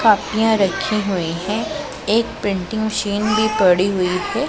कापिया रखी हुई है एक प्रिंटिंग मशीन भी पड़ी हुई है।